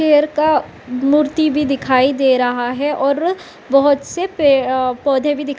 शेर का मूर्ति भी दिखाई दे रहा है और बोहोत से पे अ पौधे भी दिख् --